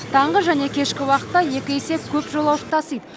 таңғы және кешкі уақытта есе көп жолаушы тасиды